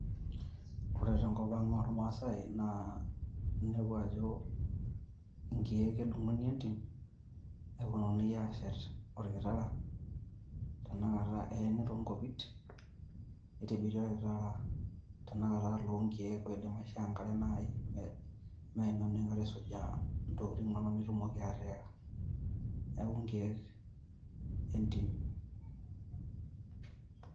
Ore tenkop ang oo ilmaasai naa inepu ajo nkiek edung`ini entim neponunui aashet olkitara tena kata eeni too nkopit. Nitobiri olkitara tenakata loo nkiek oidim aishoo enkare naaji meima enoshi kata isujaa ntokitin inonok nitumoki atiika. Niaku nkiek e ntim.